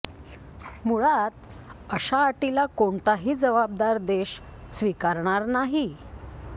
मुळात अशा अटीला कोणताही जबाबदार देश स्वीकारणार नाही